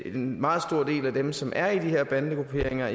en meget stor del af dem som er i de her bandegrupperinger